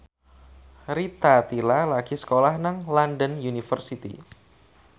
Rita Tila lagi sekolah nang London University